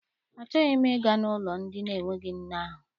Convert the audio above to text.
Achọghị m ịga n'ụlọ ndị na-enweghị nne ahụ.